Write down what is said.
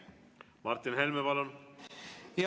Martin Helme, palun!